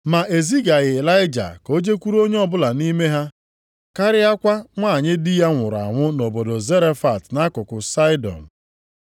Ma e zigaghị Ịlaịja ka o jekwuru onye ọbụla nʼime ha karịakwa nwanyị di ya nwụrụ anwụ nʼobodo Zarefat nʼakụkụ Saịdọn.